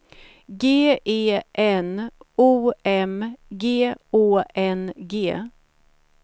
G E N O M G Å N G